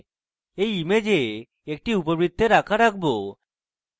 এই image আমি একটি উপবৃত্তের আকার আঁকব